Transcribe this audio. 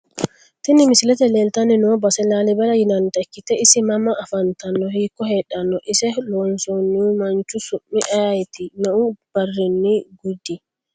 Tini misilete leelitani noo base laalibela yinanita ikite ise mama afantano hiiko heedhano ise loosinohu manchu su`mi ayiiti me`u barini gydi?